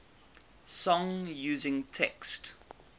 song using text